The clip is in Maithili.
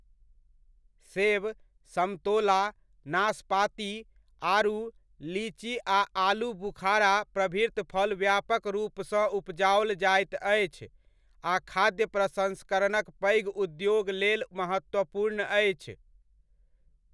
सेब, समतोला, नाशपाती, आड़ू, लीची आ आलू बुखारा प्रभृत फल व्यापक रूपसँ उपजाओल जाइत अछि आ खाद्य प्रसन्स्करणक पैघ उद्योग लेल महत्त्वपूर्ण अछि।